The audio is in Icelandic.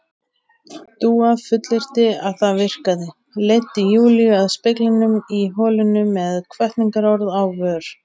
Dúa fullyrti að það virkaði, leiddi Júlíu að speglinum í holinu með hvatningarorð á vör.